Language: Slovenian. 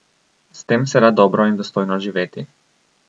S tem se da dobro in dostojno živeti.